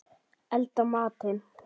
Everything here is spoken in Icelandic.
Elda matinn.